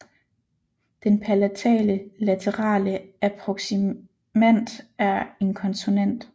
Den palatale laterale approksimant er en konsonant